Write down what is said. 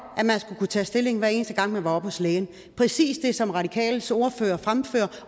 at man skulle kunne tage stilling hver eneste gang man var oppe hos lægen præcis det som radikales ordfører fremfører